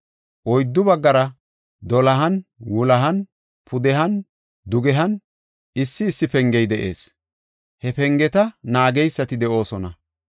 Oyddu baggara dolohan, wulohan, pudehan dugehan issi issi pengey de7ees; he pengeta naageysati de7oosona.